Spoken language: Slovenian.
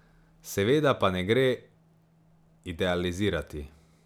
Seveda pa ne gre idealizirati.